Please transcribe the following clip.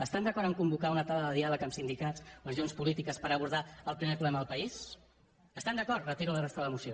estan d’acord a convocar una taula de diàleg amb sindicats organitzacions polítiques per abordar el primer problema del país hi estan d’acord retiro la resta de la moció